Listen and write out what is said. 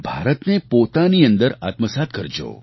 ભારતને પોતાની અંદર આત્મસાત્ કરજો